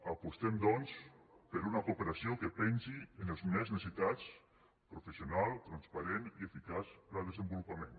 apostem doncs per una cooperació que pensi en els més necessitats professional transparent i eficaç per al desenvolupament